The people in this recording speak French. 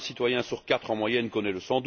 Un citoyen sur quatre en moyenne connaît le